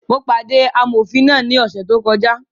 Mo pàdé amọ̀fin náà ní ọ̀sẹ̀ tó kọjá